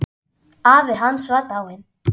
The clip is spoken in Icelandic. Afi hans var dáinn.